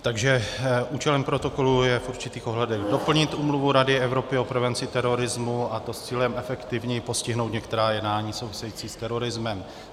Takže účelem protokolu je v určitých ohledech doplnit Úmluvu Rady Evropy o prevenci terorismu, a to s cílem efektivněji postihnout některá jednání související s terorismem.